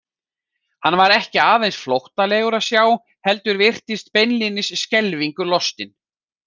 Hann var ekki aðeins flóttalegur að sjá hana heldur virtist beinlínis skelfingu lostinn.